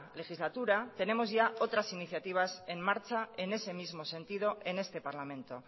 legislatura tenemos ya otras iniciativas en marcha en ese mismo sentido en este parlamento